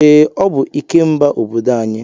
Ee, ọ bụ Ikemba obodo anyị.